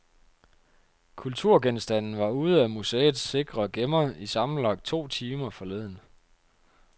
Kulturgenstanden var ude af museets sikre gemmer i sammenlagt to timer forleden.